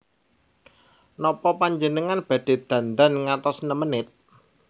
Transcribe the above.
Nopo panjenengan badhe dandan ngantos nem menit?